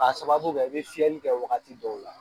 A sababu kɛ i bɛ fiyɛli kɛ wagati dɔw la